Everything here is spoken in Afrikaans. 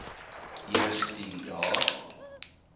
eers tien dae